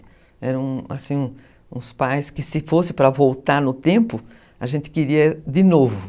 Eram, assim, uns pais que, se fosse para voltar no tempo, a gente queria de novo.